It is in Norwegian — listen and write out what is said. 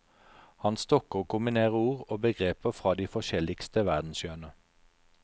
Han stokker og kombinerer ord og begreper fra de forskjelligste verdenshjørner.